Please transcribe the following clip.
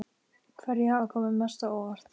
Hverjir hafa komið mest á óvart?